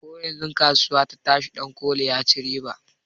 Koyanzun kasuwa ta tashi dankoli ya ci riba